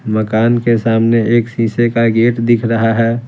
मकान के सामने एक शीशे का गेट दिख रहा है।